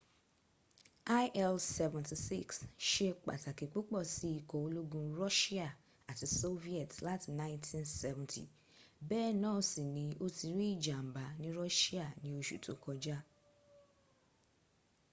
il-76 ṣe pàtàkì púpọ̀ sí ikọ̀ ológun russia àti soviet láti 1970 bẹ́ẹ̀ náà sì ni ó ti rí ìjàǹbá ní russia ní oṣù tó kọjá